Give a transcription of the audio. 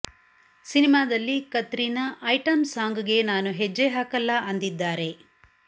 ಸಿನಿಮಾದಲ್ಲಿ Katrina item song ಗೆ ನಾನು ಹೆಜ್ಜೆ ಹಾಕಲ್ಲ ಅಂದಿದ್ದಾರೆ